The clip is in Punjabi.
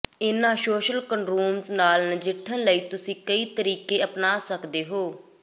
ਇਹਨਾਂ ਸੋਸ਼ਲ ਕਨੰਡਰੂਮਜ਼ ਨਾਲ ਨਜਿੱਠਣ ਲਈ ਤੁਸੀਂ ਕਈ ਤਰੀਕੇ ਅਪਣਾ ਸਕਦੇ ਹੋ